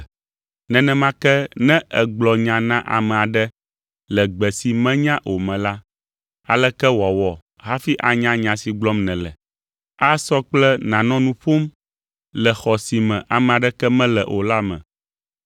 Nenema ke, ne ègblɔ nya na ame aɖe le gbe si menya o me la, aleke wòawɔ hafi anya nya si gblɔm nèle? Asɔ kple nànɔ nu ƒom le xɔ si me ame aɖeke mele o la me.